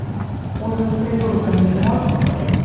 ужин с придурками ты можешь показать